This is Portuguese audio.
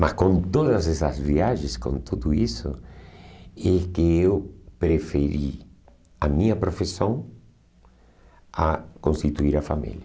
Mas com todas essas viagens, com tudo isso, é que eu preferi a minha profissão a constituir a família.